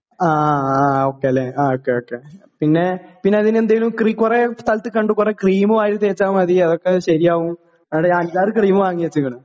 ആ ആ ഓക്കേലെ ആ ഓക്കേ ഓക്കേ പിന്നെ പിന്നതിനെന്തേലും ക്രി കൊറേ സ്ഥലത്ത് കണ്ടു കൊറേ ക്രീം വാരി തേച്ചാ മതി അതൊക്കെ ശെരിയാകും എന്നിട്ട് ഞാൻ അഞ്ചാറ് ക്രീം വാങ്ങി വെച്ച്ക്ക്ണ്.